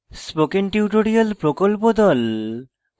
spoken tutorial প্রকল্প the